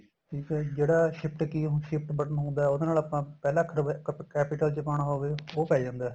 ਤੇ ਫੇਰ ਜਿਹੜਾ shift key ਹੁਣ shift button ਹੁੰਦਾ ਉਹਦੇ ਨਾਲ ਆਪਾਂ ਪਹਿਲਾਂ ਅਖਰ capital ਚ ਪਾਣਾ ਹੋਵੇ ਉਹ ਪੈ ਜਾਂਦਾ